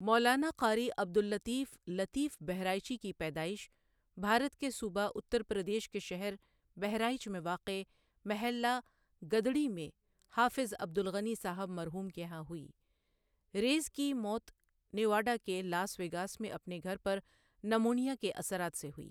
مولانا قاری عبد اللطیف لطیفؔ بہرائچی کی پیدائش بھارت کے صوبہ اتر پردیش کے شہر بہرائچ میں واقع محلہ گدڑی میں حافظ عبد الغنی ؒصاحب مرحوم کے یہاں ہوئی ریٖز کی موت نیواڈا کے لاس ویگاس میں اپنے گھر پر نمونیا کے اثرات سے ہوئی۔